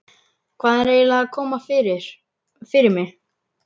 Hvað er eiginlega að koma fyrir mig?